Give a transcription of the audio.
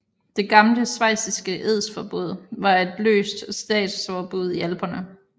Det Gamle schweiziske edsforbund var et løst statsforbund i Alperne